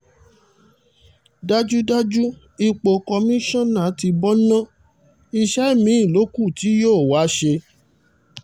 dájúdájú ipò kọ́mìnnà tí bó na iṣẹ́ mi-ín ló kù tí yóò wá ṣe